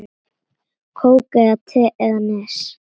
Kók eða te eða Nes?